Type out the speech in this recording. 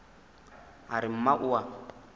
a re mma o a